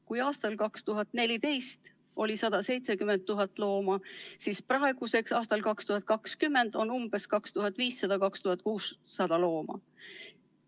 Kui aastal 2014 oli 170 000 looma, siis praeguseks, aasta 2020 seisuga, on 2500–2600 looma.